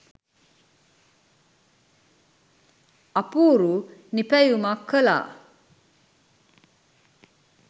අපූරු නිපැයුමක් කලා